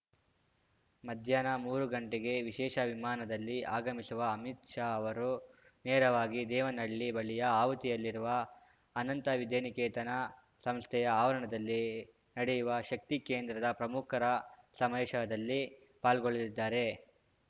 ಮಧ್ಯಾಹ್ನ ಮೂರು ಗಂಟೆಗೆ ವಿಶೇಷ ವಿಮಾನದಲ್ಲಿ ಆಗಮಿಸುವ ಅಮಿತ್‌ ಶಾ ಅವರು ನೇರವಾಗಿ ದೇವನಹಳ್ಳಿ ಬಳಿಯ ಆವತಿಯಲ್ಲಿರುವ ಅನಂತ ವಿದ್ಯಾನಿಕೇತನ ಸಂಸ್ಥೆಯ ಆವರಣದಲ್ಲಿ ನಡೆಯುವ ಶಕ್ತಿ ಕೇಂದ್ರದ ಪ್ರಮುಖರ ಸಮಾವೇಶದಲ್ಲಿ ಪಾಲ್ಗೊಳ್ಳಲಿದ್ದಾರೆ